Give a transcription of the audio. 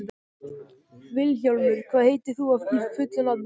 Vilhjálmur, hvað heitir þú fullu nafni?